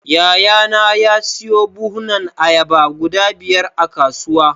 Yayana ya siyo buhunan ayaba guda biyar a kasuwa.